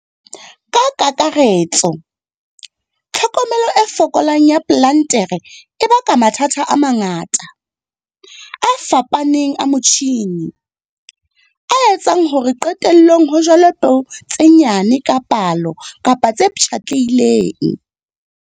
Ka kakaretso, tlhokomelo e fokolang ya plantere e baka mathata a mangata, a fapaneng a motjhine, a etsang hore qetellong ho jalwe peo tse nyane ka palo kapa tse pshatlehileng.